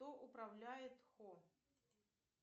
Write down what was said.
кто управляет хо